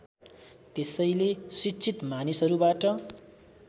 त्यसैले शिक्षित मानिसहरूबाट